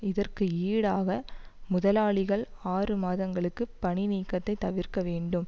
இதற்கு ஈடாக முதலாளிகள் ஆறு மாதங்களுக்கு பணி நீக்கத்தை தவிர்க்க வேண்டும்